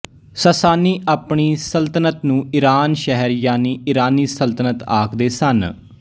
ਸਾਸਾਨੀ ਆਪਣੀ ਸਲਤਨਤ ਨੂੰ ਈਰਾਨ ਸ਼ਹਿਰ ਯਾਨੀ ਇਰਾਨੀ ਸਲਤਨਤ ਆਖਦੇ ਸਨ